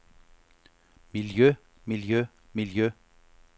miljø miljø miljø